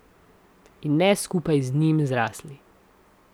In ne skupaj z njim zrasli.